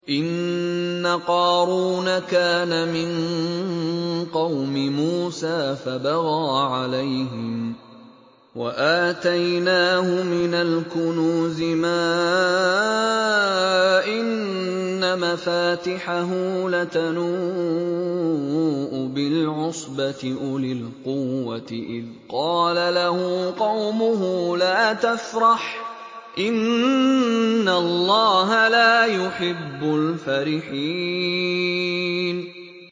۞ إِنَّ قَارُونَ كَانَ مِن قَوْمِ مُوسَىٰ فَبَغَىٰ عَلَيْهِمْ ۖ وَآتَيْنَاهُ مِنَ الْكُنُوزِ مَا إِنَّ مَفَاتِحَهُ لَتَنُوءُ بِالْعُصْبَةِ أُولِي الْقُوَّةِ إِذْ قَالَ لَهُ قَوْمُهُ لَا تَفْرَحْ ۖ إِنَّ اللَّهَ لَا يُحِبُّ الْفَرِحِينَ